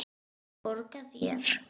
Borga þér?